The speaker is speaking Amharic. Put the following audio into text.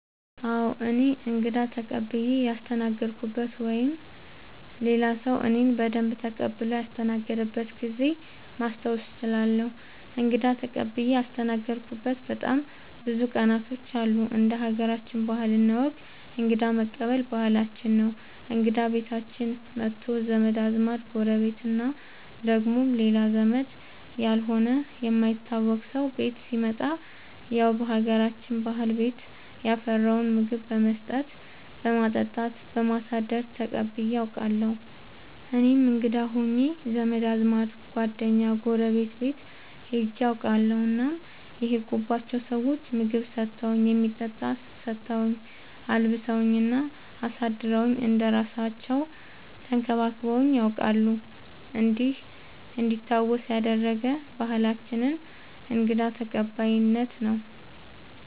አዎ እኔ እንግዳ ተቀብየ ያስተናገድኩበት ወይም ሌላ ሰዉ እኔን በደንብ ተቀብሎ ያስተናገደበት ጊዜ ማስታወስ እችላለሁ። እንግዳ ተቀብዬ ያስተናገድሁበት በጣም ብዙ ቀናቶች አሉ እንደ ሀገራችን ባህል እና ወግ እንግዳ መቀበል ባህላችን ነው እንግዳ ቤታችን መቶ ዘመድ አዝማድ ጎረቤት እና ደግሞ ሌላ ዘመድ ያልሆነ የማይታወቅ ሰው ቤት ሲመጣ ያው በሀገራችን ባህል ቤት ያፈራውን ምግብ በመስጠት በማጠጣት በማሳደር ተቀብዬ አውቃለሁ። እኔም እንግዳ ሆኜ ዘመድ አዝማድ ጓደኛ ጎረቤት ቤት ሄጄ አውቃለሁ እናም የሄድኩባቸው ሰዎች ምግብ ሰተውኝ የሚጠጣ ሰተውኝ አልብሰውኝ እና አሳድረውኝ እንደ እራሳለው ተንከባክበውኝ ነያውቃሉ እንዲህ እንዲታወስ ያደረገ ባህላችንን እንግዳ ተቀባይነት ነው።